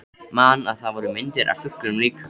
Man að það voru myndir af fuglum líka.